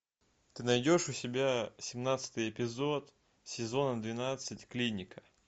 ты найдешь у себя семнадцатый эпизод сезона двенадцать клиника